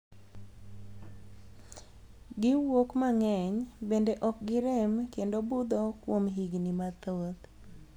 Gi wuok mang'eny, bende ok gi rem kendo butho kuom higni mathoth.